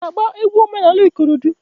I ga -agba egwu omenanị ikorodo?